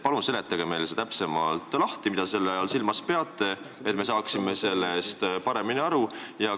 Palun seletage see meile täpsemalt lahti, mida te selle all silmas peate, et me saaksime sellest paremini aru!